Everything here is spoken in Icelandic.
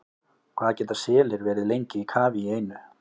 Hvað geta selir verið lengi í kafi í einu?